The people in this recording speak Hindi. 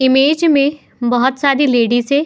इमेज में बहोत सारी लेडीज हैं।